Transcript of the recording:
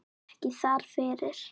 Ekki þar fyrir.